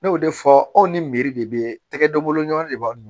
Ne y'o de fɔ anw ni de bɛ tɛgɛ denbolon de b'a dun